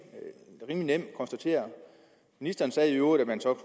nemt konstatere ministeren sagde i øvrigt at man så